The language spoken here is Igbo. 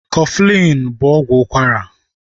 Kọflin bụ ọgwụ ụkwara